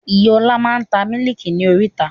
Ìyá ọ̀la máa ń ta Mílíkì ni oríta.